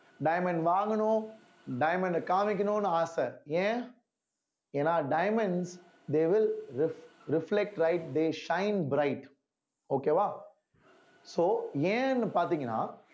diamond வாங்கணும் diamond அ காமிக்கணும்னு ஆசை ஏன் ஏன்னா diamonds they will ref~ reflect right they shine bright okay வா so ஏன்னு பாத்தீங்கன்னா